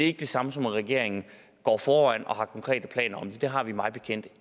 ikke det samme som at regeringen går foran og har konkrete planer om det det har vi mig bekendt